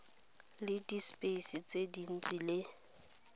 le dispice tse dintsi le